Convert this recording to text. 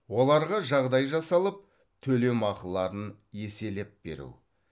оларға жағдай жасалып төлемақыларын еселеп беру